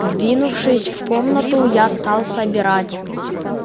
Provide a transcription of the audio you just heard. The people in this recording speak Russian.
двинувшись в комнату я стал собирать